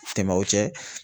Tɛmɛ o cɛ.